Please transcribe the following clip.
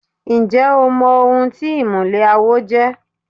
Ǹjẹ́ o mọ ohun tí ìmùlẹ̀ àwo jẹ́?